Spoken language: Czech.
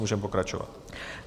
Můžeme pokračovat.